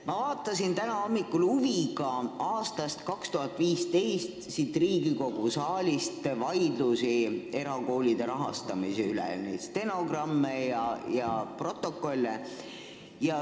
Ma vaatasin täna hommikul huviga 2015. aastal Riigikogu saalis toimunud vaidlusi erakoolide rahastamise üle, lugesin neid stenogramme ja protokolle.